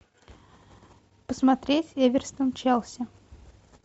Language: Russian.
посмотреть эвертон челси